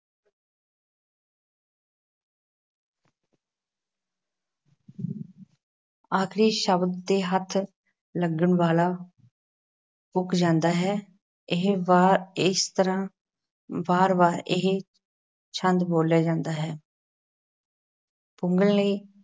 ਆਖ਼ਰੀ ਸ਼ਬਦ ਤੇ ਹੱਥ ਲੱਗਣ ਵਾਲਾ ਪੁੱਗ ਜਾਂਦਾ ਹੈ। ਇਹ ਵਾਰ ਇਸ ਤਰ੍ਹਾਂ ਵਾਰ- ਵਾਰ ਇਹ ਛੰਦ ਬੋਲਿਆ ਜਾਂਦਾ ਹੈ ਪੁੱਗਣ ਲਈ